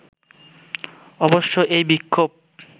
অবশ্য এই বিক্ষোভ